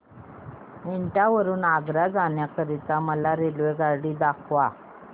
एटा वरून आग्रा जाण्या करीता मला रेल्वेगाडी दाखवा